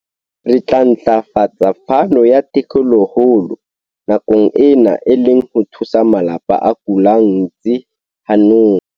Re tla ntlafatsa phano ya thekolohelo nakong ena, e le ho thusa malapa a kollang ntsi hanong.